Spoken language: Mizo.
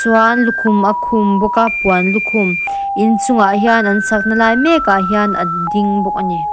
chuan lukhum a khum bawk a puan lukhum inchungah hian an sak na lai mek ah hian a ding bawk a ni.